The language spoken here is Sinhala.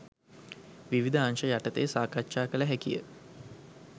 විවිධ අංශ යටතේ සාකච්ඡා කළ හැකිය.